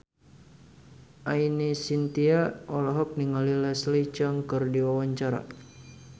Ine Shintya olohok ningali Leslie Cheung keur diwawancara